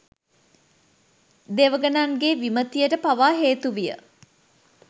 දෙවඟනන්ගේ විමතියට පවා හේතු විය